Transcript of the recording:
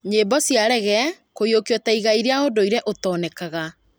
Nyimbo cia Reggea kũiyũkio ta igai rĩa ũndũire ũtonekaga